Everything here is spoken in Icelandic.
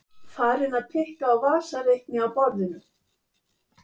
Farin að pikka á vasareikni á borðinu.